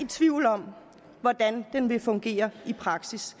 tvivl om hvordan den vil fungere i praksis